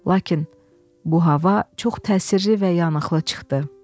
Lakin bu hava çox təsirli və yanıqlı çıxdı.